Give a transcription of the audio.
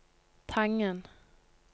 Tangen